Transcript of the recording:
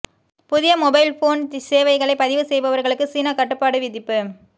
புதிய mobile phone சேவைகளை பதிவு செய்பவர்களுக்கு சீனா கட்டுப்பாடு விதிப்பு